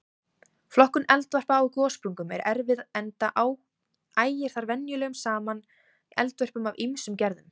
Flokkun eldvarpa á gossprungum er erfið enda ægir þar venjulega saman eldvörpum af ýmsum gerðum.